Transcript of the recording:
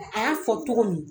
A y'a fɔ cogo min